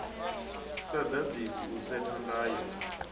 sa ḓaḓisi u setha ndayo